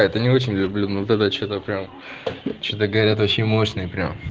это не очень люблю ну тогда что-то прямо что-то говорят очень мощная